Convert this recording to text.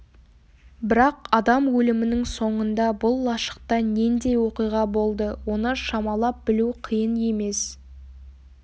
бірақ адам өлімінің соңында бұл лашықта нендей оқиға болды оны шамалап білу қиын емес